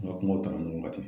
An ga kumaw tala ɲɔgɔn kan ten